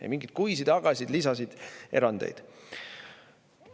Ei mingeid kuisid, agasid, lisasid, erandeid.